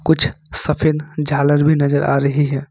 कुछ सफेद झालर भी नजर आ रही है।